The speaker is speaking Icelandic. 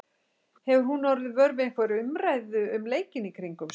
Hefur hún orðið vör við einhverja umræðu um leikinn í kringum sig?